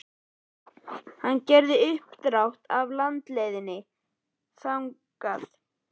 Hann gerði uppdrátt af landleiðinni þangað.